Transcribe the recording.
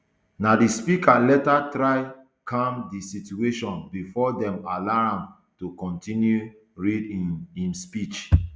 na di speaker later try calm di situation bifor dem allow am to continue to read um im speech